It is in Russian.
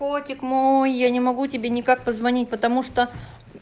котик мой я не могу тебе никак позвонить потому что